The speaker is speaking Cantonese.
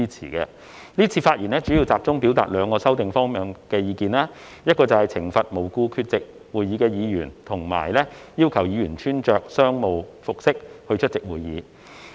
今次發言主要是集中表達兩個修訂方向的意見，包括懲罰無故缺席會議的議員及要求議員穿着商務服飾出席會議。